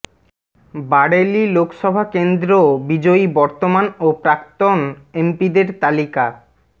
বারেলি লোকসভা কেন্দ্র বিজয়ী বর্তমান ও প্রাক্তন এমপিদের তালিকা